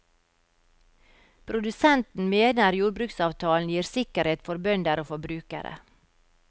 Produsenten mener jordbruksavtalen gir sikkerhet for bønder og forbrukere.